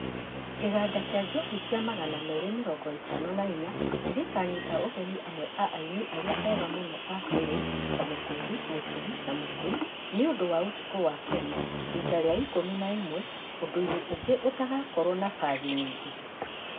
Kĩganda kĩa njohi kĩa Magana merĩ mirongo itano na inya nĩgĩkanyita ũgeni amwe a aini arĩa ega mũno a kĩrĩũ ta Mũkundi, Mũturi na Mũkui nĩũndũ wa ũtuko wa Kenya rita rĩa ikũmi na ĩmwe ũndũinĩ ũngĩ ũtagakorwo na bathi nyingi.